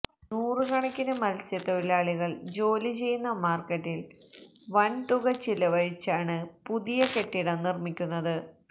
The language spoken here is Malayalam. നൂറ് കണക്കിന് മത്സ്യ തൊഴിലാളികള് ജോലി ചെയ്യുന്ന മാര്ക്കറ്റില് വന്തുക ചിലവഴിച്ചാണ് പുതിയ കെട്ടിടം നിര്മിക്കുന്നത്